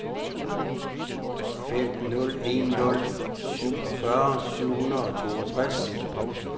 fem nul en nul syvogfyrre syv hundrede og toogtres